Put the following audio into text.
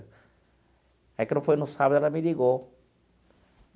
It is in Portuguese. Aí, quando foi no sábado, ela me ligou.